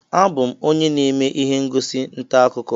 Abụ m onye na-eme ihe ngosi ntaakụkọ